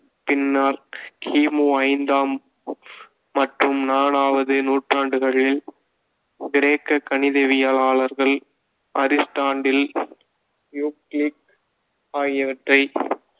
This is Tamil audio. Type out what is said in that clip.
பின்னர் கி மு ஐந்தாம் மற்றும் நாலாவது நூற்றாண்டுகளில், கிரேக்க கணிதவியலாளர்கள் அரிஸ்டாட்டில், யுக்ளிட் ஆகியவற்றை